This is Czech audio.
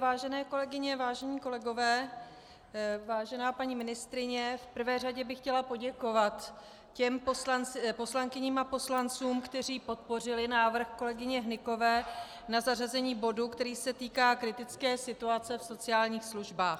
Vážené kolegyně, vážení kolegové, vážená paní ministryně, v prvé řadě bych chtěla poděkovat těm poslankyním a poslancům, kteří podpořili návrh kolegyně Hnykové na zařazení bodu, který se týká kritické situace v sociálních službách.